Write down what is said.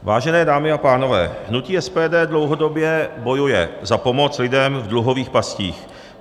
Vážené dámy a pánové, hutí SPD dlouhodobě bojuje za pomoc lidem v dluhových pastích.